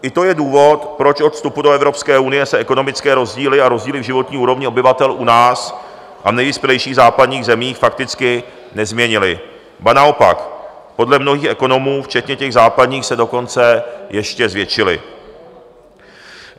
I to je důvod, proč od vstupu do Evropské unie se ekonomické rozdíly a rozdíly v životní úrovni obyvatel u nás a v nejvyspělejších západních zemích fakticky nezměnily, ba naopak, podle mnohých ekonomů včetně těch západních se dokonce ještě zvětšily.